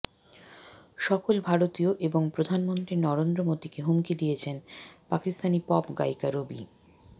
সকল ভারতীয় এবং প্রধানমন্ত্রী নরেন্দ্র মোদিকে হুমকি দিয়েছেন পাকিস্তানী পপ গায়িকা রবি